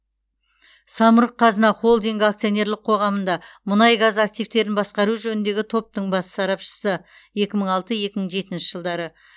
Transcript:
самұрық қазына холдингі акционерлік қоғамында мұнай газ активтерін басқару жөніндегі топтың бас сарапшысы екі мың алты екі мың жетінші жылдары